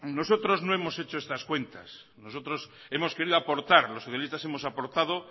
nosotros no hemos hecho estas cuentas nosotros hemos querido aportar los socialistas hemos aportado